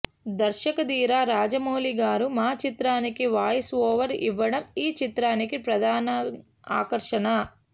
దర్శకధీర రాజమౌళి గారు మా చిత్రానికి voice over ఇవ్వడం ఈ చిత్రానికి ప్రధాన ఆకర్షణ